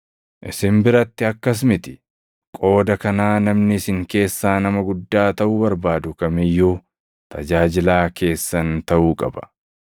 Isin biratti akkas miti. Qooda kanaa namni isin keessaa nama guddaa taʼuu barbaadu kam iyyuu tajaajilaa keessan taʼuu qaba;